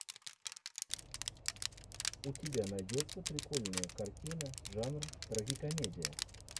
у тебя найдется прикольная картина жанр трагикомедия